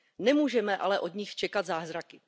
Nemůžeme ale od nich ale čekat zázraky.